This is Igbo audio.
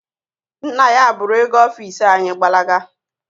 Nna ya buru oge ọfisi anyị gbalaga.